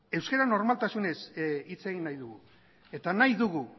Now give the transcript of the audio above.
euskara normaltasunez hitz egin nahi dugu eta nahi dugu